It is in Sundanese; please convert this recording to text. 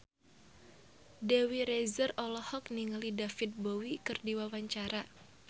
Dewi Rezer olohok ningali David Bowie keur diwawancara